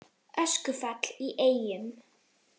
Öskufall í Eyjum